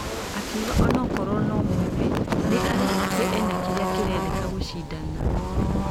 Akĩuga ũnokorwo nũ mwĩthĩ nĩ aretekia ĩna kĩrĩa kĩrendeka gũshidana.